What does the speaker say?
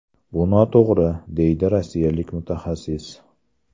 Bu noto‘g‘ri”, deydi rossiyalik mutaxassis.